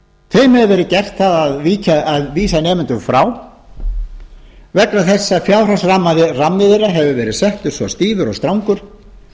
þeim hefur verið gert það að vísa nemendum frá vegna þess að fjárhagsrammi þeirra hefur verið settur svo stífur og strangur